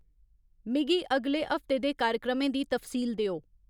मिगी अगले हफ्ते दे कार्यक्रमें दी तफसील देओ